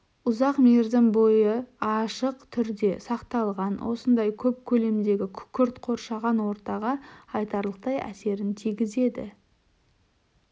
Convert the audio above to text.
ұзақ мерзім бойы ашық түрде сақталған осындай көп көлемдегі күкірт қоршаған ортаға айтарлықтай әсерін тігізеді